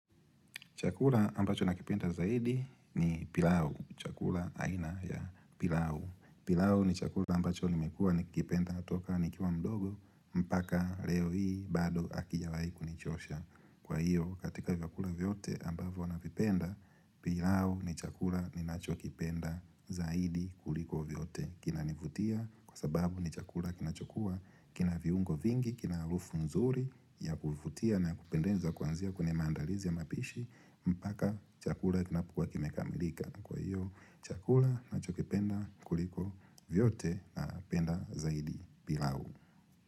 Chakula ambacho nakipenda zaidi ni pilau. Chakula aina ya pilau. Pilau ni chakula ambacho nimekuwa nikipenda toka nikiwa mdogo mpaka leo hii bado hakijawai kunichosha. Kwa hiyo katika vyakula vyote ambavyo navipenda, pilau ni chakula ninachokipenda zaidi kuliko vyote. Kinanivutia kwa sababu ni chakula kinachokuwa, kinaviungo vingi, kinaharufu nzuri ya kuvutia na ya kupendenza kuanzia kwenye maandalizi ya mapishi. Mpaka chakula kinapokuwa kimekamilika Kwa hiyo chakula ninachokipenda kuliko vyote napenda zaidi pilau.